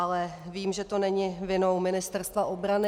Ale vím, že to není vinou Ministerstva obrany.